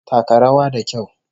Taka rawa da kyau!